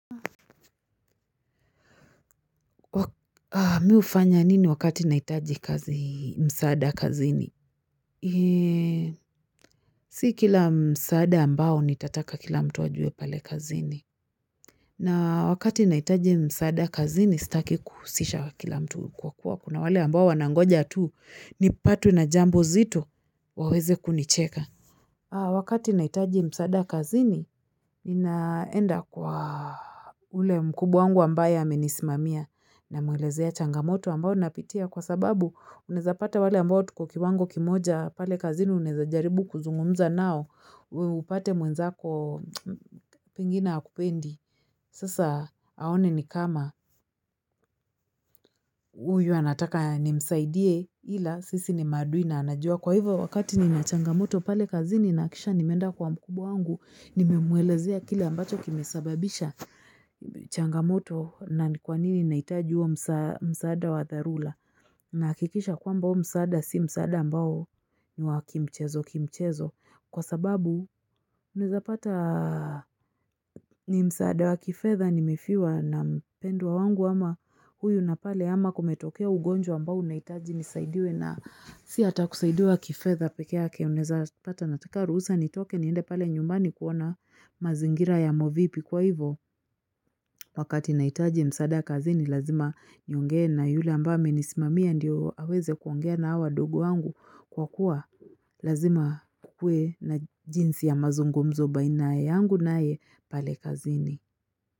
Mi hufanya nini wakati nahitaji kazi msaada kazini? Si kila msaada ambao nitataka kila mtu ajue pale kazini. Na wakati nahitaji msaada kazini, sitaki kuhusisha kila mtu kwa kuwa kuna wale ambao wanangoja tu nipatwe na jambo zito waweze kunicheka. Wakati nahitaji msaada kazini, ninaenda kwa. Ule mkubwa wangu ambaye amenisimamia. Namwelezea changamoto ambayo napitia kwa sababu unezapata wale ambayo tuko kiwango kimoja pale kazini unaweza jaribu kuzungumza nao, upate mwenzako pengine hakupendi. Sasa aone ni kama huyu anataka nimsaidie ila sisi ni maadui na anajua. Kwa hivyo wakati nina changamoto pale kazini na hakikisha nimeenda kwa mkubwa wangu ninamwelezea kile ambacho kimesababisha changamoto na ni kwa nini nahitaji huo msaada wa dharura. Nahakikisha kwamba huo msaada si msaada ambao ni wa kimchezo kimchezo. Kwa sababu unaweza pata ni msaada wa kifedha nimefiwa na mpendwa wangu ama huyu na pale ama kumetokea ugonjwa ambao unahitaji nisaidiwe na si hata kusaidiwa kifedha pekee yake. Unaweza pata nataka ruhusa nitoke niende pale nyumbani kuona mazingira yamo vipi kwa hivyo. Wakati nahitaji msaada kazini lazima nionge na yule ambaye amenisimamia ndio aweze kuongea na hawa wadogo wangu kwa kuwa lazima kukue na jinsi ya mazungumzo baina yangu naye pale kazini.